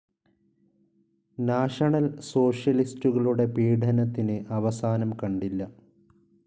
National സോഷ്യലിസ്റ്റുകളുടെ പീഡനത്തിന് അവസാനം കണ്ടില്ല.